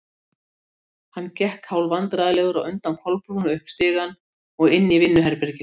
Hann gekk hálfvandræðalegur á undan Kolbrúnu upp stigann og inn í vinnuherbergið.